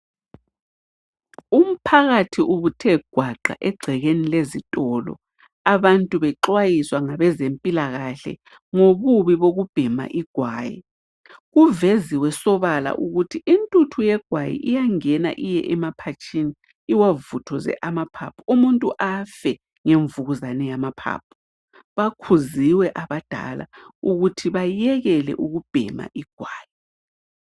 Umphakathi ubuthe gwaqa egcekeni lezitolo abantu bexwayiswa ngabezempilakahle ngobubi bokubhema igwayi. Kuveziwe sobala ukuthi intuthu yegwayi iyangena iye emaphatshini iwavuthuze amaphaphu umuntu afe ngemvukuzane yamaphaphu. Bakhuziwe abadala ukuthi bayekele ukubhema igwayi.